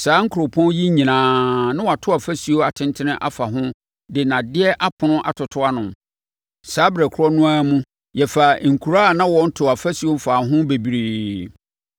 Saa nkuropɔn yi nyinaa, na wɔato afasuo atentene afa ho de nnadeɛ apono atoto ano. Saa ɛberɛ korɔ no ara mu, yɛfaa nkuraa a na wɔntoo afasuo mfaa ho bebree.